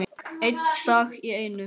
Einn dag í einu.